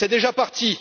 C'est déjà parti!